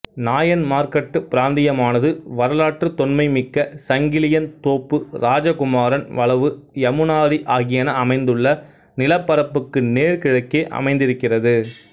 நாயன்மார்கட்டு பிராந்தியமானது வரலாற்றுத் தொன்மைமிக்க சங்கிலியன் தோப்பு இராஜகுமாரன் வளவு யமுனாரி ஆகியன அமைந்துள்ள நிலப்பரப்புக்கு நேர் கிழக்கே அமைந்திருக்கிறது